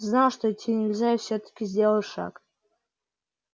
знал что идти нельзя и всё-таки сделал шаг